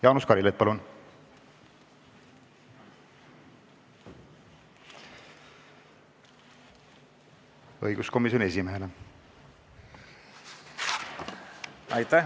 Jaanus Karilaid, õiguskomisjoni esimees, palun!